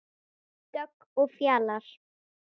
Dögg og Fjalar.